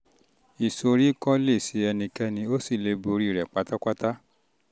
ìsoríkọ́ lè um ṣe ẹnikẹ́ni o sì lè borí rẹ̀ pátápátá